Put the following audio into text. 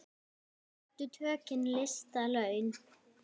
Réttu tökin lista laun.